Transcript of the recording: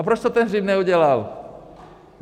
A proč to ten Hřib neudělal?